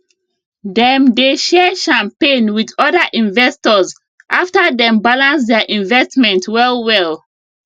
dem dey share champagne with other investors after dem balance their investment well well